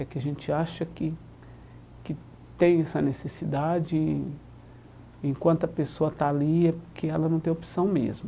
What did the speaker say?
É que a gente acha que que tem essa necessidade e, enquanto a pessoa está ali, é porque ela não tem opção mesmo.